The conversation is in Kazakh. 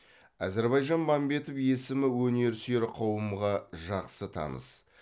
әзірбаижан мәмбетов есімі өнерсүиер қауымға жақсы таныс